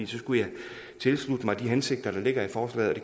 skulle jeg tilslutte mig de hensigter der ligger i forslaget